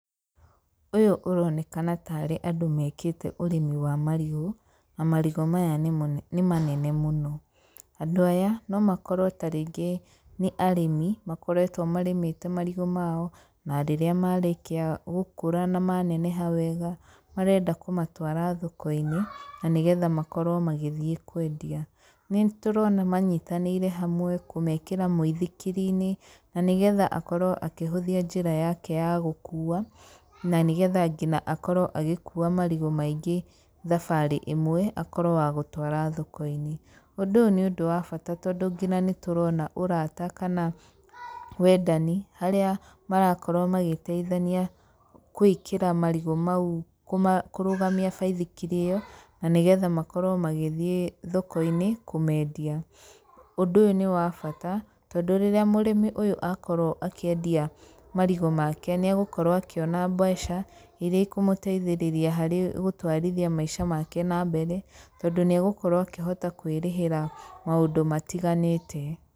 Ũyũ ũronekana taarĩ andũ mekite ũrĩmi wa marigũ, na marigũ maya nĩ manene mũno. Andũ aya no makorwo ta rĩngĩ nĩ arĩmi makoretwo marĩmĩte marigũ mao, na rĩrĩa marĩkia gũkũra na maneneha wega marenda kũmatwara thoko-inĩ na nĩ getha makorwo magithiĩ kwendia. Nĩ tũrona manyitanĩire hamwe kũmekĩra mũithikiri-inĩ na nĩ getha akorwo akĩhũthia njĩra yake ya gũkuua, na nĩ getha ngina akorwo agĩkuua marigũ maingĩ thabarĩ ĩmwe akorwo wa gũtwara thoko-inĩ. Ũndũ ũyũ nĩ ũndũ wa bata tondũ nginya nĩ tũrona ũrata kana wendani harĩa marakorwo magĩteithania gwĩkĩra marigũ mau, kũrũgamia baithikiri ĩyo, na nĩ getha makorwo magĩthiĩ thoko-inĩ kũmendia. Ũndũ ũyũ nĩ wa bata tondũ rĩrĩa murĩmi ũyũ akorwo akĩendia marigũ make nĩegũkorwo akĩona mbeca iria ikũmũteithĩrĩria harĩ gũtwarithia maica make na mbere, tondũ nĩegũkorwo akĩhota kwĩrĩhĩra maũndũ matiganĩte.